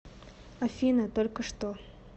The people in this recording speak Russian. афина только что